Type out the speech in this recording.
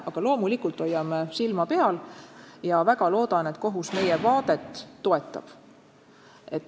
Aga loomulikult me hoiame silma peal ja väga loodan, et kohus meie arusaama toetab.